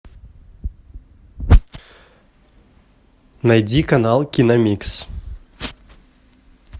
найди канал киномикс